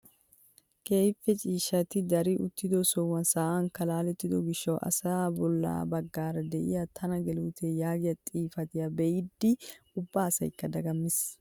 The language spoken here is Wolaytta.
Keehippe ciishshati dari uttido sohuwan sa'anikka laalettido giishshawu asay bolla baggaara de'iyaa tana geluutee yaagiyaa xifatiyaa be'idi ubba asaykka dagammiis!